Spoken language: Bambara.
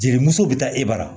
Jelimusow bi taa e bara